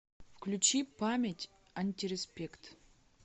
включи память антиреспект